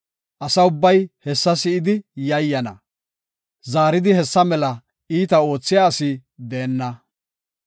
Asa ubbay hessa si7idi yayyana; zaaridi hessa mela iita oothiya asi deenna.